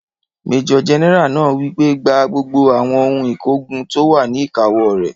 Majọ gẹ́nẹ́rà náà wí pé, "Gba gbogbo àwọn ohun ìkógun tó wà ní ìkáwó rẹ̀!